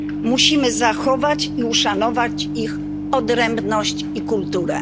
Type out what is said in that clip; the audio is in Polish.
Musimy zachować i uszanować ich odrębność i kulturę.